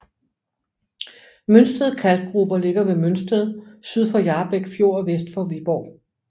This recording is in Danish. Mønsted Kalkgruber ligger ved Mønsted syd for Hjarbæk Fjord og vest for Viborg